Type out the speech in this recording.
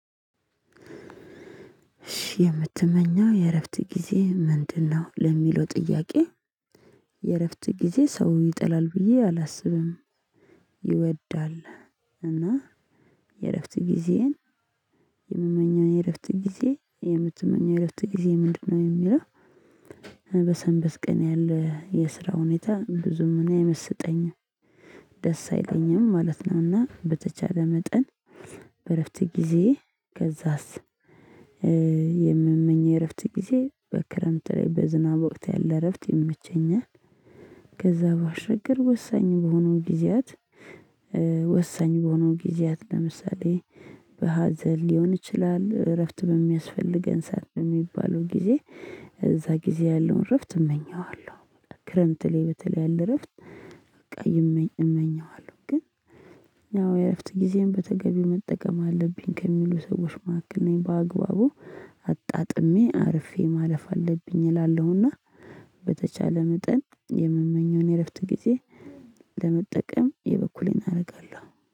እሺ የምትመኘው የእረፍት ጊዜ ምንድነው? ለሚለው ጥያቄ የእረፍት ጊዜ ሰው ይጠላል ብዬ አላስብም። ይወዳል። እና የእረፍት ጊዜ። የምመኘው የእረፍት ጊዜ የምትመኘው የእረፍት ጊዜ ምንድነው የሚለው? በሰንበት ቀን ያለ የስራ ሁኔታ ብዙም እኔ አይመስጠኝም ደስ አይለኝም ማለት ነው። እና በተቻለ መጠን በእረፍት ጊዜዬ ከዛስ የምመኝው እረፍት ጊዜ በክረምት ላይ በዝናብ ወቅት ያለ እረፍት የመቸኛል። ከዛ ባሻገር ወሳኝ በሆኑት ጊዜያት። ወሳኝ በሆኑ ጊዜያት ለምሳሌ በሀዘን ሊሆን ይችላል። እረፍት በሚያስፈልገን ስዓት በሚባለው ጊዜ እዛ ጊዜ ያለውን እረፍት እመኘዋለሁ። ክረምት ላይ በተለይ ያለ እረፍት በቃ እመኘዋለሁ። ግን ያው የእረፍት ጊዜም በተገቢ መጠቀም አለብኝ ከሚሉ ሰዎች ማከል ነኝ በአግባቡ አጣጥሜ አርፌ ማለፍ አለብኝ እላለሁና። በተቻለ መጠን የምመኘውን የእረፍት ጊዜ ለመጠቀም የበኩሌን አርጋለሁ